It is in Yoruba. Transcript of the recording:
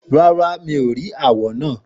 Rárá, mi ò rí àwọ̀ náà.